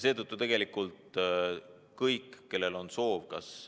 Seetõttu tegelikult kõik, kellel on soov, kas ...